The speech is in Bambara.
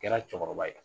Kɛra cɛkɔrɔba ye